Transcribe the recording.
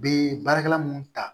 Be baarakɛla mun ta